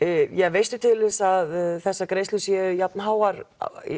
veistu til þess að þessar greiðslur séu jafn háar